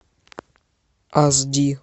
аш ди